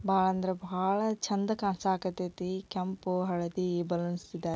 ಬಹಳ ಅಂದ್ರೆ ಬಹಳ ಚಂದ ಕಾಣಿಸಕ್ ಹತೈತಿ ಕೆಂಪು ಹಳದಿ ಈ ಬಲೂನ್ಸ್--